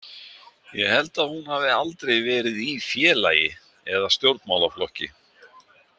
Ég held að hún hafi aldrei verið í félagi eða stjórnmálaflokki.